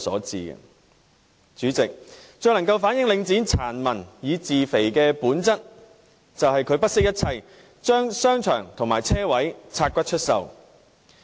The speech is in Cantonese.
主席，最能夠反映領展"殘民以自肥"的本質，就是它不惜一切，將商場和車位"拆骨"出售。